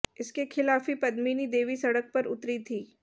इसके खिलाफ ही पद्मिनी देवी सड़क पर उतरी थीं